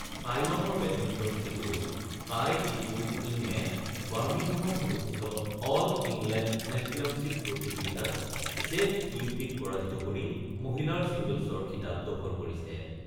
টাইৱানৰ বেডমিণ্টন খেলুৱৈ Tai Tzu Ying বাৰ্মিহামত অনুষ্ঠিত অল ইংলেণ্ড চেম্পিয়নশ্বীপ প্ৰতিযোগিতাত ছেঙ ইউফিক পৰাজিত কৰি মহিলাৰ ছিংগলছৰ খিতাপ দখল কৰিছে।